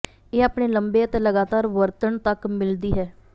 ਇਹ ਆਪਣੇ ਲੰਬੇ ਅਤੇ ਲਗਾਤਾਰ ਵਰਤਣ ਤੱਕ ਮਿਲਦੀ ਹੈ